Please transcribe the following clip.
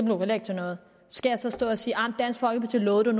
jo heller ikke til noget skal jeg så stå og sige dansk folkeparti lovede det